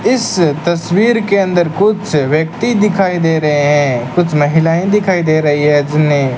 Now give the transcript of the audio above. इस तस्वीर के अंदर कुछ व्यक्ति दिखाई दे रहे हैं कुछ महिलाएं दिखाई दे रही हैं जिन्हें--